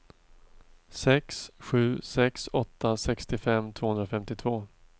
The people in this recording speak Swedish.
sex sju sex åtta sextiofem tvåhundrafemtiotvå